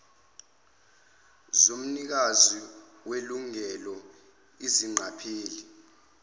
zomnikazi welungelo izingqapheli